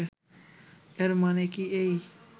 এর মানে কি এই